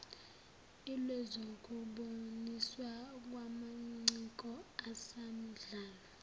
lwezokuboniswa kwamaciko asamdlalo